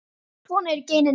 Svona eru genin.